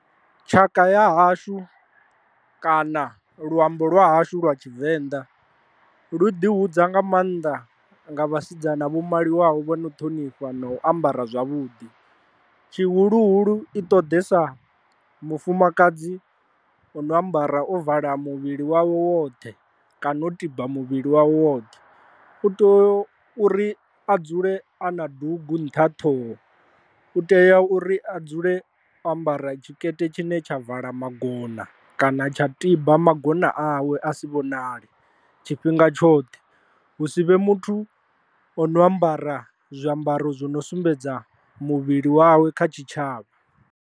Tshaka ya hashu kana luambo lwa hashu lwa tshivenḓa lu ḓi hudza nga maanḓa nga vhasidzana vhu maliwaho vho no ṱhonifha na u ambara zwavhuḓi, tshihuluhulu i ṱoḓesa mufumakadzi u no ambara o vala muvhili wawe woṱhe kana u tiba muvhili wawe woṱhe, u tea uri a dzule a na dugu nṱha ṱhoho, u tea uri a dzule o ambara tshikete tshine tsha vala magona kana tsha tiba magona awe a si vhonale tshifhinga tshoṱhe, hu si vhe muthu o no ambara zwiambaro zwi no sumbedza muvhili wawe kha tshitshavha.